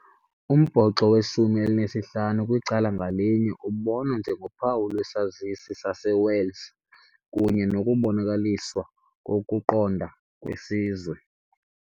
Umbhoxo weshumi elinesihlanu kwicala ngalinye ubonwa njengophawu lwesazisi saseWales kunye nokubonakaliswa kokuqonda kwesizwe.